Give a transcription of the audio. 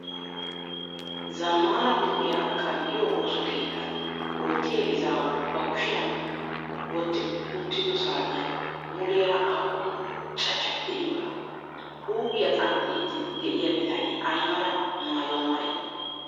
Zammaana huuphiyaa qanxxiyoo osso keettan oottiyaa izaawu bakushiyan wottudi uttido saatiyan muleera aappun cachchati de'iyoonaa? Huuphiyaa qanxxiiddi de'iyaa bitanee ayi mala maayuwaa maayidee?